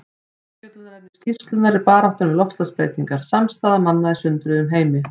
Umfjöllunarefni skýrslunnar er Baráttan við loftslagsbreytingar: Samstaða manna í sundruðum heimi.